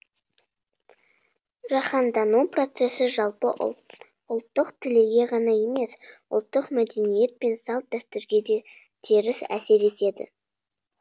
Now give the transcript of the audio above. жаһандану процессі жалпы ұлттық тілге ғана емес ұлттық мәдениет пен салт дәстүрге де теріс әсер етеді